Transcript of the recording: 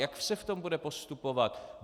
Jak se v tom bude postupovat?